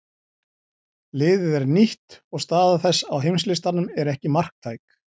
Liðið er nýtt og staða þess á heimslistanum er ekki marktæk.